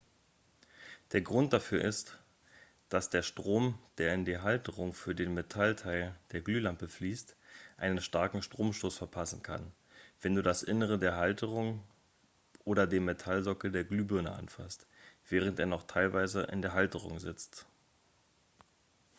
der grund dafür ist dass dir der strom der in die halterung für den metallteil der glühlampe fließt einen starken stromstoß verpassen kann wenn du das innere der halterung oder den metallsockel der glühbirne anfasst während er noch teilweise in der halterung sitzt